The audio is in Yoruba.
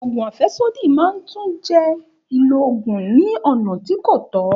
Ògùn àfẹ́sódì náà tún jẹ́ ìlò ògùn ní ọ̀nà tí kò tọ́